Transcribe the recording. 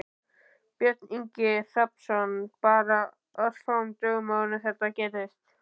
Björn Ingi Hrafnsson: Bara örfáum dögum áður en þetta gerðist?